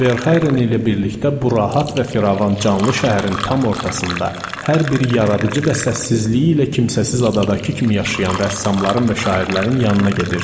Verhaeren ilə birlikdə bu rahat və firavan canlı şəhərin tam ortasında, hər biri yaradıcı və səssizliyi ilə kimsəsiz adadakı kimi yaşayan rəssamların və şairlərin yanına gedirdim.